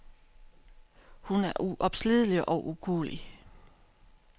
Hun er uopslidelig og ukuelig.